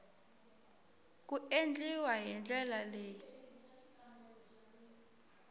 ku endliwa hi ndlela leyi